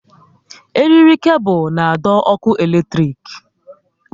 Eriri kebul na adọ ọkụ eletrik